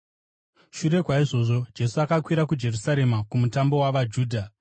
Shure kwaizvozvo, Jesu akakwira kuJerusarema kumutambo wavaJudha.